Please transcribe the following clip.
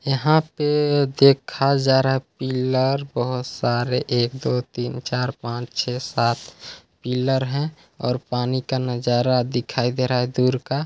यहाँ पे देखा जा रहा है पिल्लर बहुत सारे एक दो तीन चार पाँच छै सात पिल्लर है और पानी का नजारा दिखाई दे रहा है दूर का--